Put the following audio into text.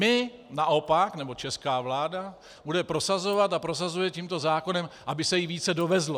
My naopak, nebo česká vláda bude prosazovat a prosazuje tímto zákonem, aby se jí více dovezlo.